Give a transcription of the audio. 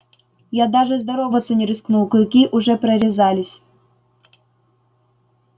я даже здороваться не рискнул клыки уже прорезались